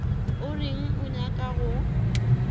o reng o nyaka go